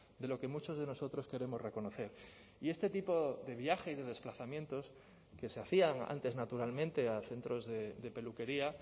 de lo que muchos de nosotros queremos reconocer y este tipo de viajes de desplazamientos que se hacían antes naturalmente a centros de peluquería